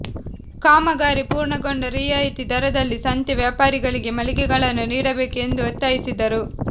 ಕಾಮಗಾರಿ ಪೂರ್ಣಗೊಂಡ ರಿಯಾಯಿತಿ ದರದಲ್ಲಿ ಸಂತೆ ವ್ಯಾಪಾರಿಗಳಿಗೆ ಮಳಿಗೆಗಳನ್ನು ನೀಡಬೇಕು ಎಂದು ಒತ್ತಾಯಿಸಿದರು